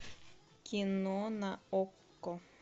кино на окко